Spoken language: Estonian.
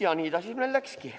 Ja nii ta siis meil läkski.